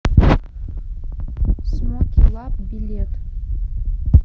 смоке лаб билет